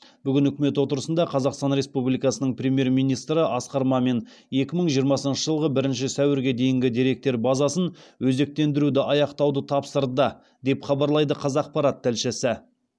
бүгін үкімет отырысында қазақстан республикасының премьер министрі асқар мамин екі мың жиырмасыншы жылғы бірінші сәуірге дейін деректер базасын өзектендіруді аяқтауды тапсырды деп хабарлайды қазақпарат тілшісі